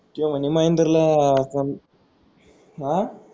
तोय म्हणे महेंद्रला कोण अं